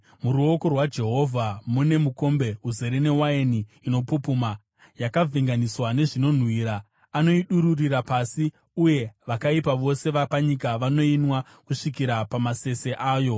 Muruoko rwaJehovha mune mukombe uzere newaini inopupuma, yakavhenganiswa nezvinonhuhwira; anoidururira pasi, uye vakaipa vose vapanyika vanoinwa kusvikira pamasese ayo.